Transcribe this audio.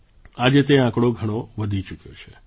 આજે તે આંકડો ઘણો વધી ચૂક્યો છે